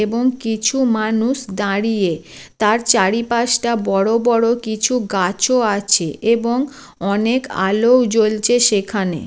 এবং কিছু মানুষ দাঁড়িয়ে। তার চারিপাশটা বড় বড় কিছু গাছও আছে এবং অনেক আলো জ্বলছে সেখানে।